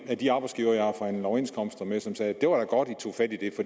af de arbejdsgivere jeg har forhandlet overenskomster med som sagde det var da godt i tog fat i